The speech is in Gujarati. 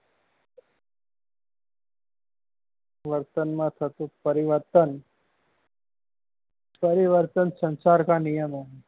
વર્તન માં થતું પરિવર્તન પરિવર્તન સંસાર કા નિયમ હૈ